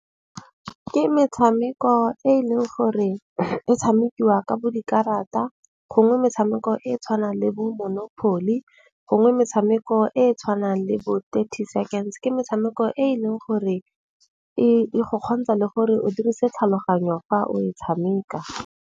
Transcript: Ke metshameko e e leng gore e tshamekiwa ka bo dikarata. Gongwe metshameko e e tshwanang le bo monopoly. Gongwe metshameko e e tshwanang le bo 30 Seconds. Ke metshameko e e leng gore e go kgontsha le gore o dirise tlhaloganyo fa o e tshameka.